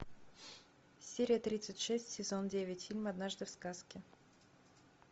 серия тридцать шесть сезон девять фильм однажды в сказке